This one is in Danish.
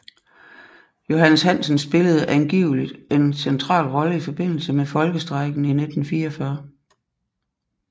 Johannes Hansen spillede angiveligt en central rolle i forbindelse med Folkestrejken i 1944